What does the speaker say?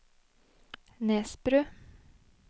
Nesbru